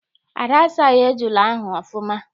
Ada asaghị ejula ahụ ọfụma.